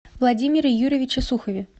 владимире юрьевиче сухове